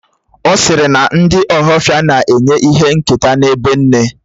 Ọ̀ sịrị na ndị ohafia na-enye ìhè nketa n'ibé nne